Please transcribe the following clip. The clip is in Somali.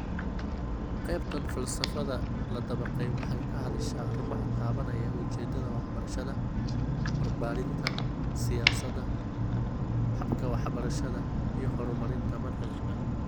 Qaybtan falsafada la dabaqay waxay ka hadashaa arrimaha taabanaya ujeedada waxbarashada, barbaarinta, siyaasadda, habka waxbarashada, iyo horumarinta manhajka.